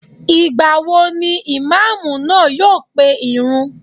Ìgbà wo ni Ìmáàmù náà yóò pe ìrun?